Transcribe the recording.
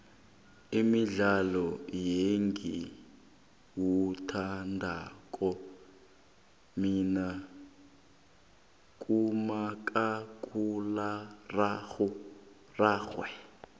umudlalo engiwuthandako mina ngumakhakhulwararhwe